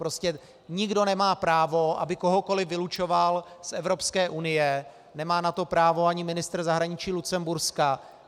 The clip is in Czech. Prostě nikdo nemá právo, aby kohokoliv vylučoval z Evropské unie, nemá na to právo ani ministr zahraničí Lucemburska.